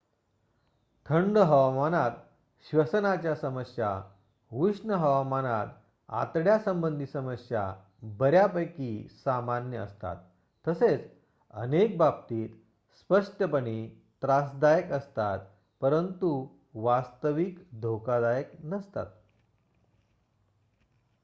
थंड हवामानात श्वसनाच्या समस्या उष्ण हवामानात आतड्यांसंबंधी समस्या बर्‍यापैकी सामान्य असतात तसेच अनेक बाबतीत स्पष्टपणे त्रासदायक असतात परंतु वास्तविक धोकादायक नसतात